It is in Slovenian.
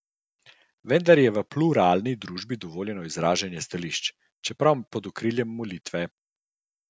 Vendar v pluralni družbi je dovoljeno izražanje stališč, čeprav pod okriljem molitve.